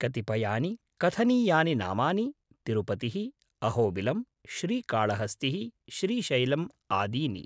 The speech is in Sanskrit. कतिपयानि कथनीयानि नामानि तिरुपतिः, अहोबिलम्, श्रीकाळहस्तिः, श्रीशैलम् आदीनि।